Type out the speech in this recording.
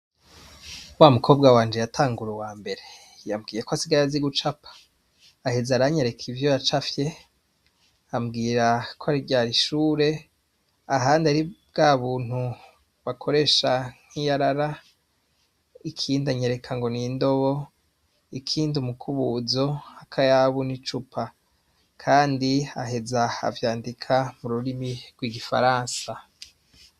Wa mukobwa wanje yatangure uwa mbere yabwiye ko asiga yazi guco apa aheze aranyu areka ivyo yaca afye ambwira ko aryara ishure ahandi ari bwa buntu bakoresha nk'iyarara ikindianyereka ngo nindobo ikindi umukubuzo akayabu ni cupa, kandi aheza avyandika mu rurimi rw'igifaransa.